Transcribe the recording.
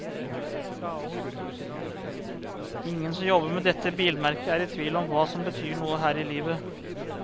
Ingen som jobber med dette bilmerket er i tvil om hva som betyr noe her i livet.